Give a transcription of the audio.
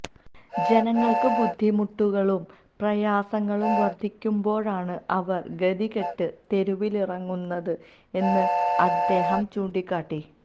ജനങ്ങൾക്ക് ബുദ്ധിമുട്ടുകളും പ്രയാസങ്ങളും വർദ്ധിക്കുമ്പോഴാണ് അവർ ഗതിക്കെട്ട് തെരുവിലിറങ്ങുന്നത് എന്ന് അദ് ദേഹം ചൂണ്ടികാട്ടി